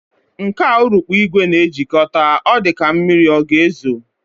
Nke a urukpu ìgwè na-ejikọta, ọ dịka ka mmiri ọ ga-ezo